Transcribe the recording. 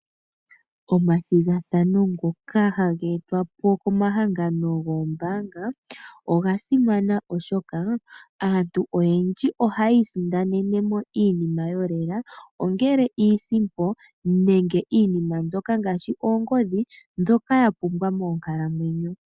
Omathigathano ngoka haga e twa po komahangano goombaanga oga simana oshoka, aantu oyendji ohaya isindanene mo iinima yolela, ongele iisimpo nenge iinima mbyoka ngaashi oongodhi dhoka yapumbwa moonkalamwenyo.